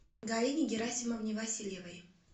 галине герасимовне васильевой